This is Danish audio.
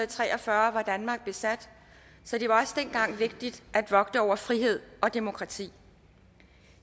tre og fyrre var danmark besat så det var også dengang vigtigt at vogte over frihed og demokrati i